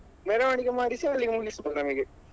ಮೆರವಣಿಗೆ ಮಾಡಿಸಿ ಅಲ್ಲಿ ಮುಗಿಸ್ಬೊಹ್ದು ನಮಿಗೆ.